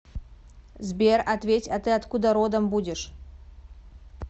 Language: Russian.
сбер ответь а ты откуда родом будешь